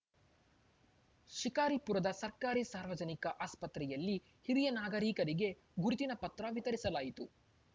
ಶಿಕಾರಿಪುರದ ಸರ್ಕಾರಿ ಸಾರ್ವಜನಿಕ ಆಸ್ಪತ್ರೆಯಲ್ಲಿ ಹಿರಿಯ ನಾಗರೀಕರಿಗೆ ಗುರುತಿನ ಪತ್ರ ವಿತರಿಸಲಾಯಿತು